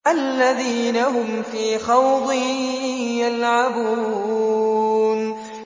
الَّذِينَ هُمْ فِي خَوْضٍ يَلْعَبُونَ